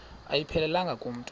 ayiphelelanga ku mntu